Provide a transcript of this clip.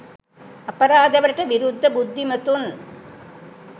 අපරාධ වලට විරුද්ධ බුද්ධිමතුන්